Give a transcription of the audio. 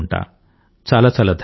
చాలా చాలా ధన్యవాదాలు